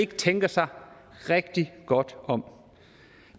tænker sig rigtig godt om